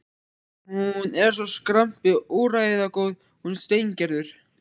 Hún er svo skrambi úrræðagóð, hún Steingerður.